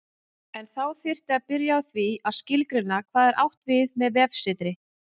En þá þyrfti að byrja á því að skilgreina hvað átt er við með vefsetri.